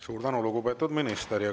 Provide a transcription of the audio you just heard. Suur tänu, lugupeetud minister!